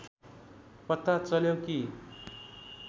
पता चल्यो कि